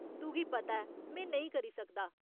तुगी पता ऐ में नेईं करी सकदा।